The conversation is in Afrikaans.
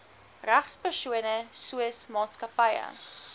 regspersone soos maatskappye